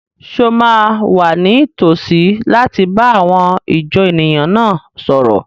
Ṣé o máa wà ní tòsí láti bá àwọn ìjọ èèyàn náà sọ̀rọ̀?